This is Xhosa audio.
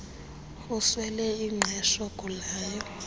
uswele ingqesho ugulayo